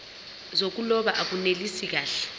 zokuloba akunelisi kahle